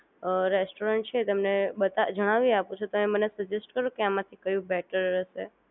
restaurant છે એ બાત જણાવી આપૂ છુ તો સજેસ્ટ કરો કે આમાંથી કયું બેટર રહેશે